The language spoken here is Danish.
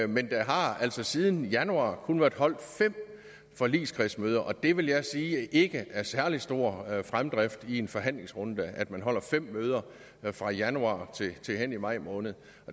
men der har altså siden januar kun været holdt fem forligskredsmøder og det vil jeg sige ikke er særlig stor fremdrift i en forhandlingsrunde at man altså holder fem møder fra januar til hen i maj måned